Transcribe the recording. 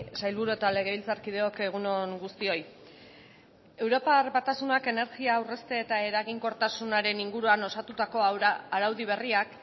sailburu eta legebiltzarkideok egun on guztioi europar batasunak energia aurrezte eta eraginkortasunaren inguruan osatutako araudi berriak